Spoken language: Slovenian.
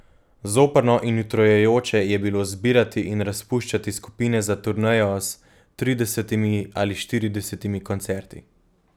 Zoprno in utrujajoče je bilo zbirati in razpuščati skupine za turnejo s tridesetimi ali štiridesetimi koncerti.